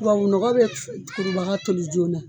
Tubabu nɔgɔ be kurubaga toli joona.